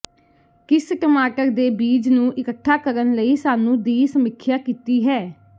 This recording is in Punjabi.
ਕਿਸ ਟਮਾਟਰ ਦੇ ਬੀਜ ਨੂੰ ਇੱਕਠਾ ਕਰਨ ਲਈ ਸਾਨੂੰ ਦੀ ਸਮੀਖਿਆ ਕੀਤੀ ਹੈ